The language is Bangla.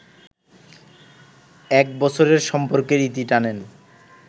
এক বছরের সম্পর্কের ইতি টানেন